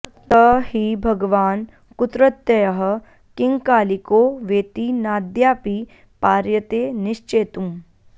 स हि भगवान् कुत्रत्यः किङ्कालिको वेति नाद्यापि पार्यते निश्चेतुम्